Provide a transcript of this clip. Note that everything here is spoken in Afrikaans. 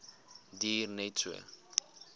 duur net so